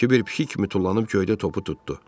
Kiber pişik kimi tullanıb göydə topu tutdu.